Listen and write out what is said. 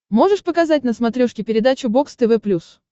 можешь показать на смотрешке передачу бокс тв плюс